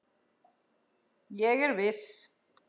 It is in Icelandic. Ég er viss.